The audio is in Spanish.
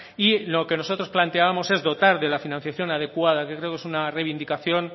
y lo que nosotros planteábamos es dotar de la financiación adecuada que creo que es una reivindicación